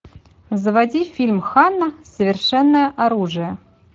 заводи фильм ханна совершенное оружие